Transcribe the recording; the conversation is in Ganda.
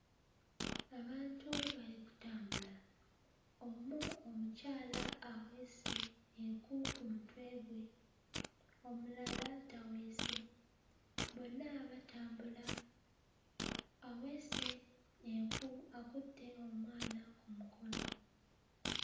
Abantu bali kutambula; omu omukyala aweese enku ku mutwe gwe, omulala taweese. Bonna batambula, aweese enku akutte omwana ku mukono.